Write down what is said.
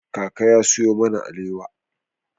Kaka ya sayo mana alewa.